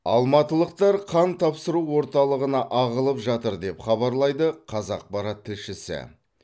алматылықтар қан тапсыру орталығына ағылып жатыр деп хабарлайды қазақпарат тілшісі